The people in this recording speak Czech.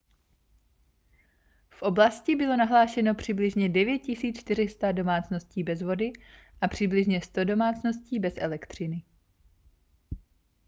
v oblasti bylo nahlášeno přibližně 9 400 domácností bez vody a přibližně 100 domácností bez elektřiny